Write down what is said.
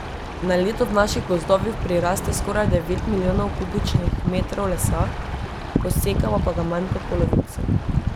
Na leto v naših gozdovih priraste skoraj devet milijonov kubičnih metrov lesa, posekamo pa ga manj kot polovico.